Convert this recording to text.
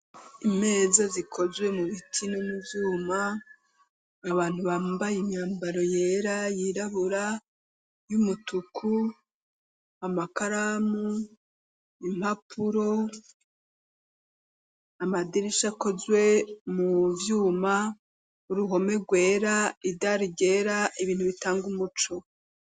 imeza zikozwe mu biti no muvyuma abantu bambaye imyambaro yera yirabura y'umutuku amakaramu impapuro amadirisha akozwe muvyuma uruhome rwera idari ryera ibintu bitanga umuco